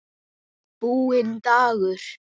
Búinn dagur.